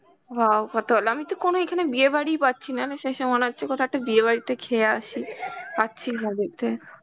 wow কত ভালো, আমি তো কোন এখানে বিয়ে বাড়িই পাচ্ছি না শেষে মনে হচ্ছে কোথাও একটা বিয়ে বাড়িতে খেয়ে আসি, পাচ্ছি না যেতে.